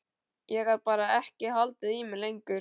Ég gat bara ekki haldið í mér lengur.